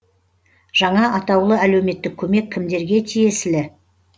жаңа атаулы әлеуметтік көмек кімдерге тиесілі